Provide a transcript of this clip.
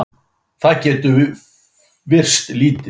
Það getur virst lítið.